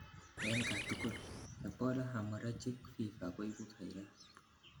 en katugul, Ebola hemorrhagic fever koibu virus